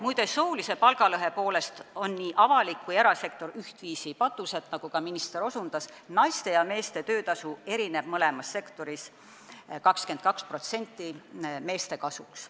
Muide, soolise palgalõhe poolest on nii avalik kui ka erasektor ühtviisi patused, nagu ka minister osutas, sest töötasu on mõlemas sektoris 22% meeste kasuks.